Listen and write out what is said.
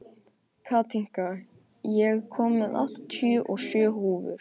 Katinka, ég kom með áttatíu og sjö húfur!